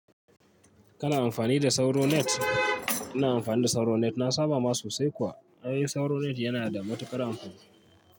Kana amfani da SauroNet? Ina amfani da SauroNet, na saba ma sosai kuwa. Ai SauroNet yana da matuƙar amfani.